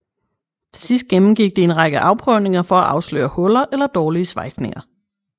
Til sidst gennemgik de en række afprøvninger for at afsløre huller eller dårlige svejsninger